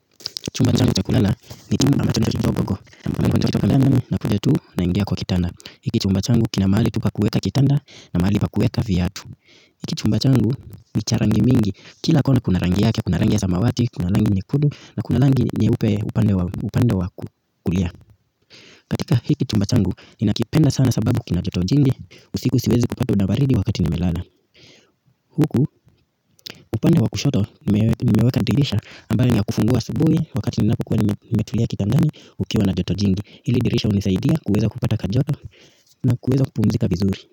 Chumba changu cha kulala ni chumba ambacho ni chumba bogo mpani kwantokitwa kandandami na kuja tuu na ingia kwa kitanda hiki chumba changu kina mahali tu pa kuweka kitanda na mahali pa kuweka viatu hiki chumba changu ni cha rangi mingi kila kona kuna rangi yake, kuna rangi ya samawati, kuna rangi nyekudu na kuna rangi nyeupe upande wa kukulia katika hiki chumba changu ninakipenda sana sababu kina joto jingi usiku siwezi kupatwa na baridi wakati nimelala huku upande wa kushoto nimeweka dirisha ambayo ni ya kufungua asubuhi wakati ninapokuwa nimetulia kitandani kukiwa na joto jingi ili dirisha hunisaidia kuweza kupata kajoto na kuweza kupumzika vizuri.